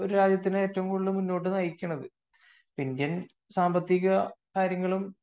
ഒരു രാജ്യത്തെ മുന്നോട്ട് നയിക്കുന്നത് . ഇന്ത്യൻ സാമ്പത്തിക കാര്യങ്ങളും